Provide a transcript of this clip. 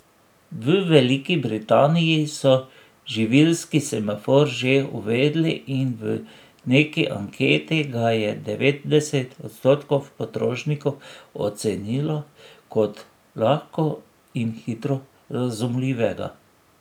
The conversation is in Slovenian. V Veliki Britaniji so živilski semafor že uvedli in v neki anketi ga je devetdeset odstotkov potrošnikov ocenilo kot lahko in hitro razumljivega.